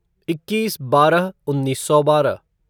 इक्कीस बारह उन्नीस सौ बारह